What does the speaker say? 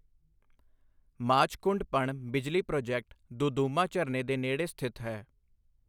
ਮਾਛਕੁੰਡ ਪਣ ਬਿਜਲੀ ਪ੍ਰੋਜੈਕਟ ਦੁਦੁਮਾ ਝਰਨੇ ਦੇ ਨੇੜੇ ਸਥਿਤ ਹੈ।